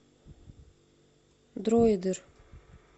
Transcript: дроидер